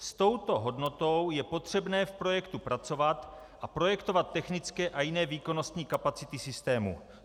S touto hodnotou je potřebné v projektu pracovat a projektovat technické a jiné výkonnostní kapacity systémů.